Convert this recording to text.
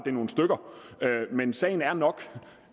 er nogle stykker men sagen er nok